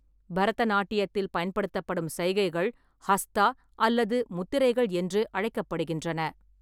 பரதநாட்டியத்தில் பயன்படுத்தப்படும் சைகைகள் ஹஸ்தா அல்லது முத்திரைகள் என்று அழைக்கப்படுகின்றன.